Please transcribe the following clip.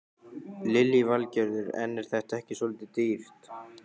Lillý Valgerður: En er þetta ekki svolítið dýrt?